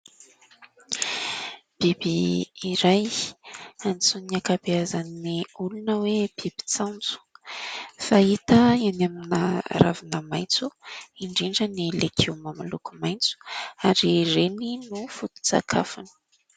Biby iray, antsoin'ny ankabeazan'ny olona hoe bibin-tsaonjo, fahita eny amina ravina maitso indrindra ny legioma miloko maitso ary ireny no foton-tsakafony.